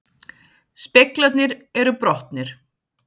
Speglarnir eru brotnir